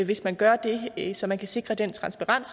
hvis man gør det så man kan sikre den transparens